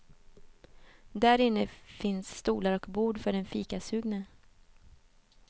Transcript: Därinne finns stolar och bord för den fikasugne.